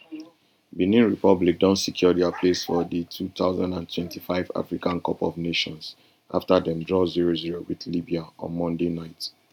benin republic don secure dia place for di two thousand and twenty-five africa cup of nations afta dem draw zero zero wit libya on monday night